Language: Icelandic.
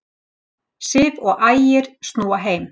Sif og Ægir snúa heim